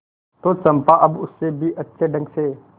तो चंपा अब उससे भी अच्छे ढंग से